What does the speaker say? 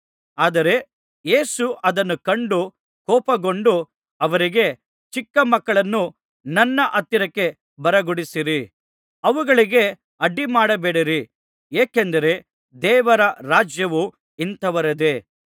ಆದರೆ ಯೇಸು ಅದನ್ನು ಕಂಡು ಕೋಪಗೊಂಡು ಅವರಿಗೆ ಚಿಕ್ಕ ಮಕ್ಕಳನ್ನು ನನ್ನ ಹತ್ತಿರಕ್ಕೆ ಬರಗೊಡಿಸಿರಿ ಅವುಗಳಿಗೆ ಅಡ್ಡಿಮಾಡಬೇಡಿರಿ ಏಕೆಂದರೆ ದೇವರ ರಾಜ್ಯವು ಇಂಥವರದೇ